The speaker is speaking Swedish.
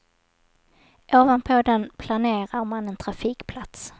Ovanpå den planerar man en trafikplats.